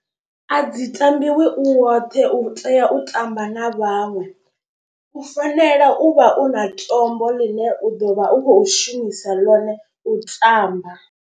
A dzi tambiwi u woṱhe u tea u tamba na vhaṅwe. U fanela u vha u na tombo ḽine u ḓo vha u khou shumisa ḽone u tamba.